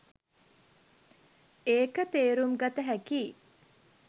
ඒක තේරුම්ගත හැකියි